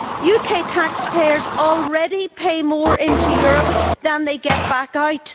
UK taxpayers already pay more into Europe than they get back out.